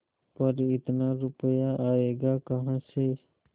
पर इतना रुपया आयेगा कहाँ से